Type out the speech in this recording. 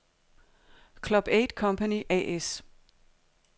Club 8 Company A/S